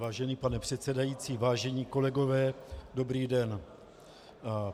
Vážený pane předsedající, vážení kolegové, dobrý den.